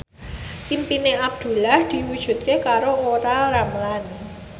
impine Abdullah diwujudke karo Olla Ramlan